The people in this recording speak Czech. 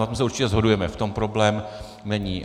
Na tom se určitě shodujeme, v tom problém není.